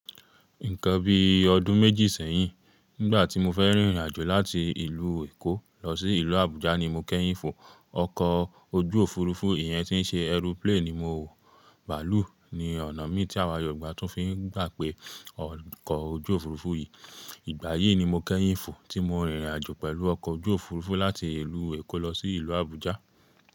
Nǹkan bí ọdún méjì sẹ́yìn, nígbà tí mo fẹ́ rìnrìnàjò láti ìlú Èkó lọ sí ìlú Àbújá ni mo kẹ́yìn fò ọkọ̀ ojú òfurufú, ìyẹn tí ń ṣe aeroplane ni mo wò. Bàálù ni ọ̀nà mí tí àwa Yorùbá tún fi ń gbà pé ọkọ̀ ojú òfurufú yí. Ìgbà yìí ni mo kẹ́yìn fò tí mo rìnrìnàjò pẹ̀lú ọkọ̀ ojú òfurufú láti ìlú Èkó lọ sí ìlú Àbújá.